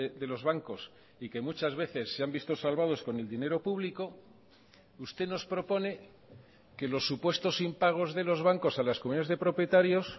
de los bancos y que muchas veces se han visto salvados con el dinero público usted nos propone que los supuestos impagos de los bancos a las comunidades de propietarios